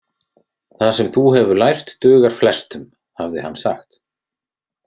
Það sem þú hefur lært dugar flestum, hafði hann sagt.